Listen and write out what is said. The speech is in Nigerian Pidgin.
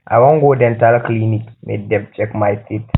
i wan go dental clinic make dem check my teeth